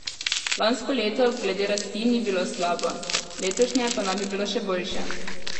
Lansko leto glede rasti ni bilo slabo, letošnje pa naj bi bilo še boljše.